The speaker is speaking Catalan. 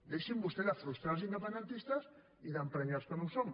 deixin vostès de frustrar els independentistes i d’emprenyar els que no ho som